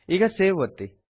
ಈಗ ಸೇವ್ ಒತ್ತಿ